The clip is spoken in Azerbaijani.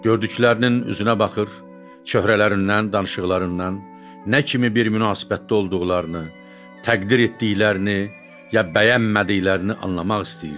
Gördüklərinin üzünə baxır, çöhrələrindən, danışıqlarından nə kimi bir münasibətdə olduqlarını, təqdir etdiklərini, ya bəyənmədiklərini anlamaq istəyirdi.